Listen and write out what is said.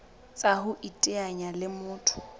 tsa ho iteanya le motho